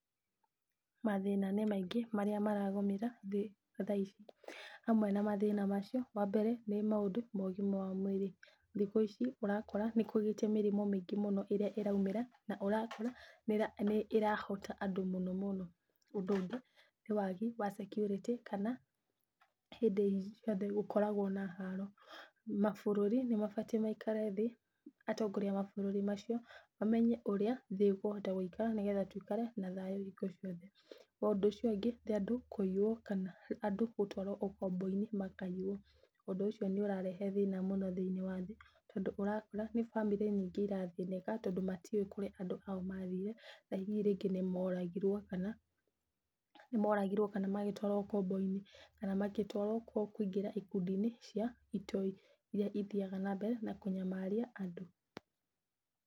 Mathĩna nĩ maingĩ marĩa maragũmĩra thĩ tha ici. Hamwe na mathĩna macio wa mbere nĩ maũndũ ma ũgima wa mwĩrĩ. Thikũ ici ũrakora nĩkũgĩte na mĩrimũ mĩngĩ mũno ĩrĩa ĩraumĩra na ũrakora nĩĩrahota andũ mũno mũno. Ũndũ ũngĩ nĩ wagi wa security kana hĩndĩ ciothe gũkoragwo na haro. Mabũrũri nĩmabatiĩ maikare thĩ, atongoria a mabũrũri macio mamenye ũrĩa thĩ ĩkũhota gũikara, nĩgetha tũikare na thayũ hingo ciothe. Ũcio ũngĩ nĩ andũ kũiywo kana andũ gũtwarwo ũkombo-inĩ makaiywo. Ũndũ ũcio nĩũrarehe thĩna mũno thĩiniĩ wa thĩ, tondũ ũrakora nĩ bamĩrĩ nyingĩ irathĩnĩka, tondũ matiũĩ kũrĩa andũ ao mathire na rĩu hihi nĩmoragirwo kana magĩtwarwo ũkombo-inĩ, kana magĩtwarwo kũingĩra ikundi-inĩ cia itoi irĩa ithiyaga na mbere na kũnyamaria andũ.